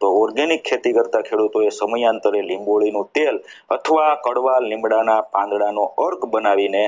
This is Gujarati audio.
તો organic ખેતી કરતા ખેડૂતોએ સમાનતારે લીંબોળી તેલ અથવા કડવા લીમડાના પાંદડા નો કર્ક બનાવીને